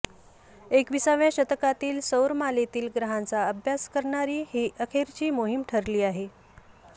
एकविसाव्या शतकातली सौरमालेतील ग्रहांचा अभ्यास करणारी ही अखेरची मोहीम ठरली आहे